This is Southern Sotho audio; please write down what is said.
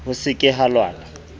ho se ke ha lwanwa